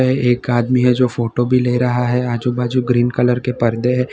एक आदमी है जो फोटो भी ले रहा है आजू बाजू ग्रीन कलर के पर्दे हैं।